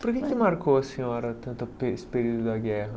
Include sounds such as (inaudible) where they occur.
Por que que marcou a senhora tanto (unintelligible) esse período da guerra?